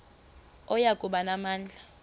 oya kuba namandla